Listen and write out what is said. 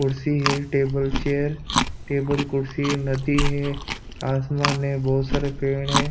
कुर्सी है table chair table कुर्सी नदी है आसमान है बहुत सारे पेड़ है।